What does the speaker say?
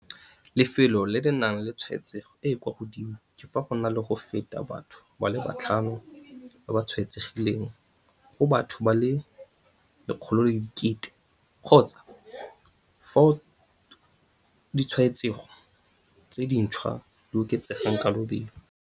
Lefelo le le nang le tshwaetsego e e kwa godimo ke fa go na le go feta batho ba le batlhano ba ba tshwaetsegileng go batho ba le 100 000 kgotsa fao ditshwaetsego tse dintšhwa di oketsegang ka lobelo.